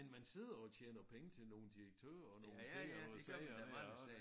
Men man sidder jo og tjener penge til nogle direktører og nogle ting og nogle sager og